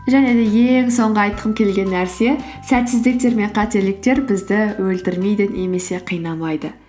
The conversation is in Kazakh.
және де ең соңғы айтқым келген нәрсе сәтсіздіктер мен қателіктер бізді өлтірмейді немесе қинамайды